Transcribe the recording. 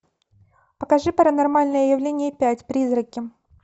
покажи паранормальное явление пять призраки